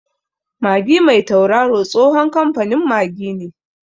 Magi mai tauraro tsohon kamfanin Magi ne.